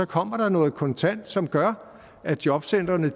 kommer noget kontant som gør at jobcentrene